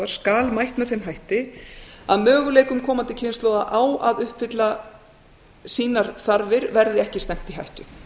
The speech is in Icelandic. skal mætt með þeim hætti að möguleikum komandi kynslóða á að uppfylla sínar þarfir verði ekki stefnt í hættu